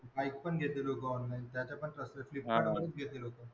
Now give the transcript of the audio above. Bike पण घेतात लोकं online. त्याचे पण स्वस्त आहेत. फ्लिपकार्टवरूनच घेतात लोक.